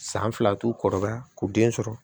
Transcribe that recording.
San fila t'u kɔrɔbaya k'u den sɔrɔ